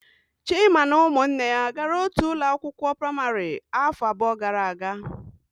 Chima na ụmụnne ya gara otu ụlọ akwụkwọ praịmarị afọ abụọ gara aga.